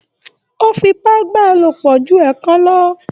O f'ipa bá a lopọ jù ẹẹkan lọ.